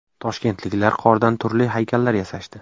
Toshkentliklar qordan turli haykallar yasashdi.